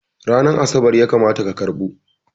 Ranar Asabar ya kamata ka karɓo!